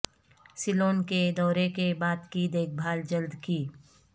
سیلون کے دورے کے بعد کی دیکھ بھال جلد کی